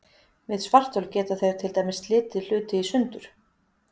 Við svarthol geta þeir til dæmis slitið hluti í sundur.